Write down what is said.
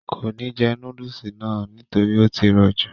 kò ní jẹ núdùsì náà nítorí ó tí rọ̀ jù